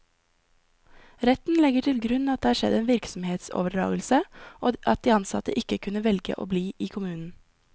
Retten legger til grunn at det har skjedd en virksomhetsoverdragelse, og at de ansatte ikke kunne velge å bli i kommunen.